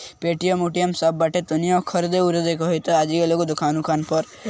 Paytm. उटीएम सब बाटे टुनिया खरदे उरदे के हतय ते आ जहिए दुकान उकान पर।